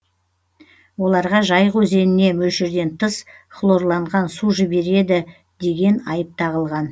оларға жайық өзеніне мөлшерден тыс хлорланған су жібереді деген айып тағылған